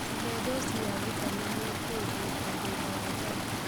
Cihe dosi ya vitameni hĩndĩ na thutha wa njanjo